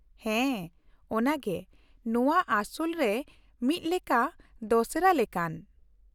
ᱦᱮᱸ ᱚᱱᱟᱜᱮ, ᱱᱚᱶᱟ ᱟᱥᱚᱞ ᱨᱮ ᱢᱤᱫ ᱞᱮᱠᱟ ᱫᱚᱥᱮᱨᱟ ᱞᱮᱠᱟᱱ ᱾